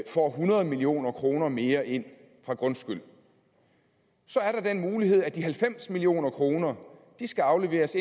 får hundrede million kroner mere ind fra grundskyld så er der den mulighed at de halvfems million kroner skal afleveres